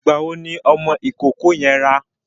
Ìgbà wo ni ọmọ ìkókó yẹn rá?